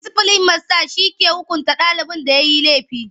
Disiplin masta ke hukunta ɗalin da yayi laifi.